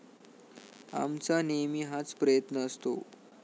आमचा नेहमी हाच प्रयत्न असतो.